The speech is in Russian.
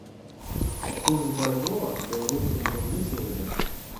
курс бальбоа к белорусскому рублю сегодня